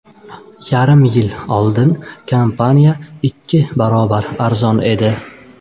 Yarim yil oldin kompaniya ikki barobar arzon edi.